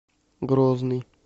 грозный